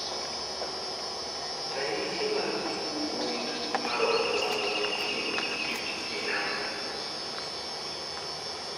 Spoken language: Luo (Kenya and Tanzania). Ranyisi mag tuo gund mar obwongo tieng' abich gin ang'o?